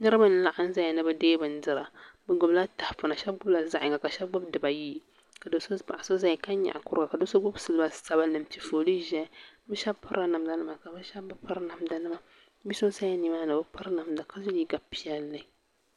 Niriba n laɣim zaya ni bɛ deegi bindira bɛ gbibi la tahapona sheba gbibila dibaayi yi ka sheba gbibi zaɣa yini yini ka paɣa so zaya ka nyaɣi kuruga o gbibila siliba sabinli bɛ sheba pirila namda nima sheba bi piri bia so ʒi nimaani o bi piri namda ka ye liiga piɛlli.